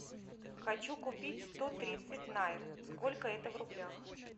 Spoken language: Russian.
хочу купить сто тридцать найр сколько это в рублях